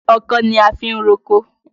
Ọkọ́ ni a fi ń roko.